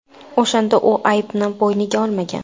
O‘shanda u aybni bo‘yniga olmagan.